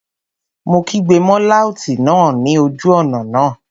Mo kígbe mọ́ láùtì náà ní ojú ọ̀nà náà